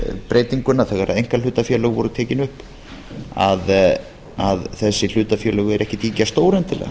breytinguna þegar einkahlutafélög voru tekin upp að þessi hlutafélög eru ekki ýkja stór endilega